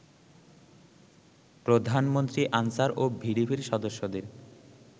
প্রধানমন্ত্রী আনসার ও ভিডিপির সদস্যদের